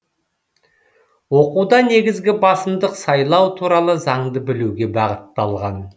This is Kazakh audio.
оқуда негізгі басымдық сайлау туралы заңды білуге бағытталған